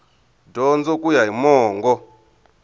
dyondzo ku ya hi mongo